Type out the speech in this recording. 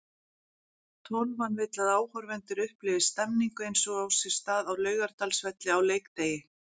Tólfan vill að áhorfendur upplifi stemningu eins og á sér stað á Laugardalsvelli á leikdegi.